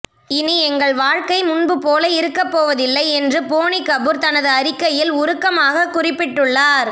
இனி எங்கள் வாழ்க்கை முன்பு போல இருக்கப் போவதில்லை என்று போனி கபூர் தனது அறிக்கையில் உருக்கமாக குறிப்பிட்டுள்ளார்